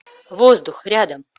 воздух рядом